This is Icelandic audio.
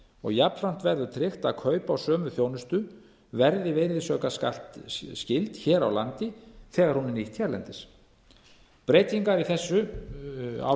og jafnframt verður tryggt að kaup á sömu þjónustu verði virðisaukaskattsskyld hér á landi þegar hún er nýtt hérlendis breytingar á